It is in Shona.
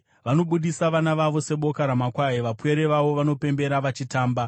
Vanobudisa vana vavo seboka ramakwai; vapwere vavo vanopembera vachitamba.